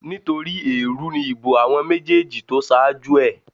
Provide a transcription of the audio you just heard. Nítorí èèrú ni ìbò àwọn méjèèjì tó ṣáájú ẹ̀